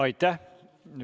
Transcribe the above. Aitäh!